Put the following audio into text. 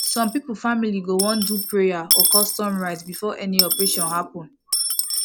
some people family go wan do prayer or custom rite before any operation happen